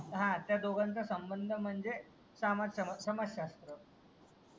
हां त्या दोघांचा संबंध म्हणजे